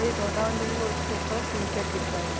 ये गोडाउन जहां हैं उसके ऊपर टी-शर्ट दिख रहा हैं।